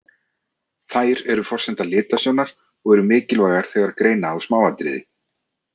Þær eru forsenda litasjónar og eru mikilvægar þegar greina á smáatriði.